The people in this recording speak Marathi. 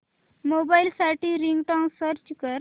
मोबाईल साठी रिंगटोन सर्च कर